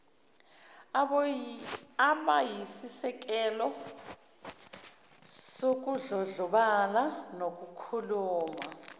abayisisekelo sokudlondlobala nokukhula